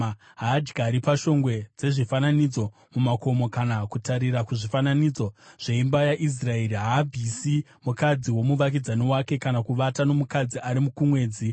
Haadyiri pashongwe dzezvifananidzo mumakomo kana kutarira kuzvifananidzo zveimba yaIsraeri. Haasvibisi mukadzi womuvakidzani wake, kana kuvata nomukadzi ari kumwedzi.